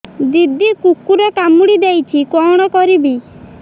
ଦିଦି କୁକୁର କାମୁଡି ଦେଇଛି କଣ କରିବି